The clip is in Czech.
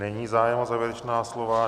Není zájem o závěrečná slova.